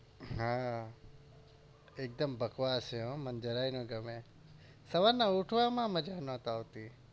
હા એકદમ બકવાસ છે હો મને જરાએ ના ગમે સવારે ઉઠવામાં મજા નત આવતી.